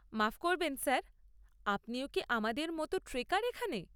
মাফ করবেন স্যার, আপনিও কি আমাদের মতো ট্রেকার এখানে?